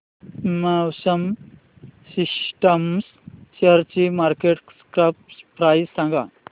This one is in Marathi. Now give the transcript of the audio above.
मॅक्सिमा सिस्टम्स शेअरची मार्केट कॅप प्राइस सांगा